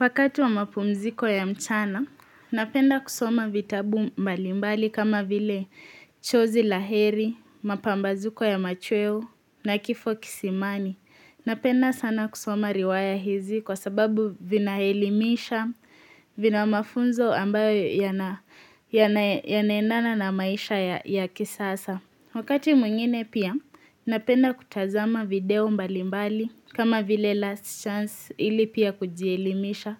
Wakati wa mapumziko ya mchana, napenda kusoma vitabu mbalimbali kama vile hhh chozi la heri, mapambazuko ya machweo na kifo kisimani. Hhn Napenda sana kusoma riwaya hizi kwa sababu vinaelimisha, vina mafunzo ambayo yanaenana na maisha ya ya kisasa. Wakati mwingine pia napenda kutazama video mbalimbali kama vile last chance ili pia kujielimisha. Hhh